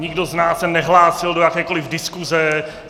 Nikdo z nás se nehlásil do jakékoliv diskuse.